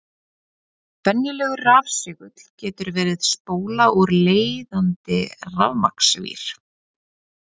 Venjulegur rafsegull getur verið spóla úr leiðandi rafmagnsvír.